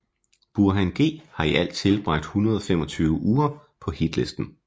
Burhan G har i alt tilbragt 125 uger på hitlisten